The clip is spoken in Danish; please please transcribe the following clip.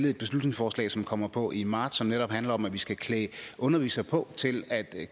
et beslutningsforslag som kommer på i marts og som netop handler om at vi skal klæde undervisere på til at